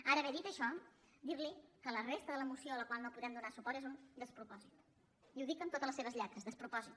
ara bé dit això dir li que la resta de la moció a la qual no podem donar suport és un despropòsit i ho dic amb totes les seves lletres despropòsit